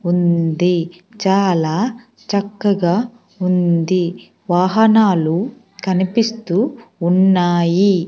ఉంది చాలా చక్కగా ఉంది వాహనాలు కనిపిస్తూ ఉన్నాయి.